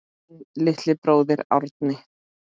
Þinn litli bróðir, Árni.